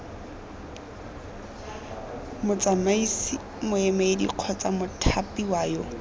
motsamaisi moemedi kgotsa mothapiwa yo